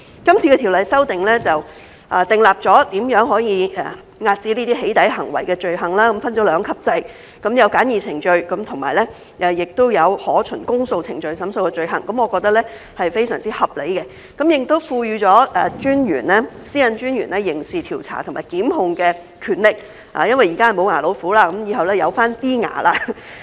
這次條例修訂訂立了如何可以遏止"起底"行為的罪行，分了兩級制，有循簡易程序審訊和可循公訴程序審訊的罪行，我認為是非常合理的，亦賦予私隱專員刑事調查和檢控的權力，因為現在是"無牙老虎"，以後便有少許"牙齒"了。